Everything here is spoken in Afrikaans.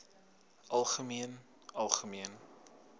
algemeen algemeen